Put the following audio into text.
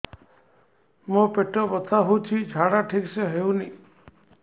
ମୋ ପେଟ ବଥା ହୋଉଛି ଝାଡା ଠିକ ସେ ହେଉନି